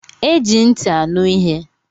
Eji ntị aṅụ ihe.